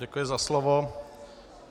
Děkuji za slovo.